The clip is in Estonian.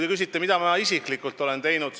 Te küsite, mida ma isiklikult olen teinud.